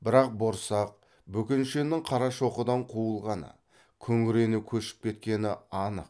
бірақ борсақ бөкеншенің қарашоқыдан қуылғаны күңірене көшіп кеткені анық